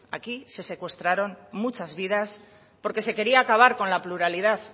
aquí se secuestraron muchas vidas porque se quería acabar con la pluralidad